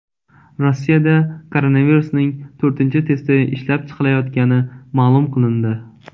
Rossiyada koronavirusning to‘rtinchi testi ishlab chiqilayotgani ma’lum qilindi.